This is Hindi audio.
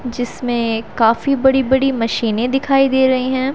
जिसमें काफी बड़ी बड़ी मशीनें दिखाई दे रही हैं।